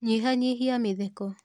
Nyihanyihia mĩtheko.